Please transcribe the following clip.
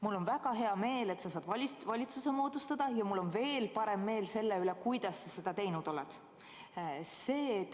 Mul on väga hea meel, et sa saad valitsuse moodustada, ja mul on veel parem meel selle üle, kuidas sa seda teinud oled.